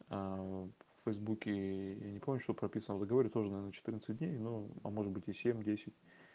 в фейсбуке я не помню что прописано в договоре тоже наверное четырнадцать дней ну а может быть и семь-десять